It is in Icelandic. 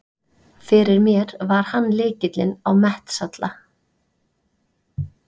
Fyrir mér var hann lykilinn á Mestalla.